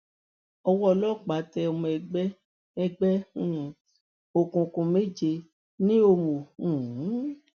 owó ọlọpàá tẹ ọmọ ẹgbẹ ẹgbẹ um òkùnkùn méje ní òmùo um